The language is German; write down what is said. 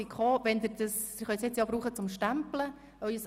Sie können den Badge jetzt auch zum Einstempeln benutzen.